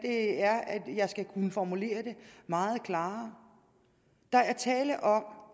jeg skal kunne formulere det meget klarere der er tale om